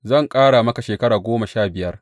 Zan ƙara maka shekara goma sha biyar.